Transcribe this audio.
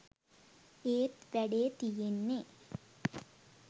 ඒත් වැඩේ තියෙන්නෙ